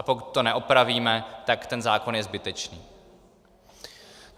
A pokud to neopravíme, tak ten zákon je zbytečný.